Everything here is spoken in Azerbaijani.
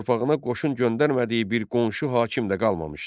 Torpağına qoşun göndərmədiyi bir qonşu hakim də qalmamışdı.